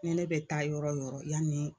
Ne ne bɛ taa yɔrɔ yɔrɔ yani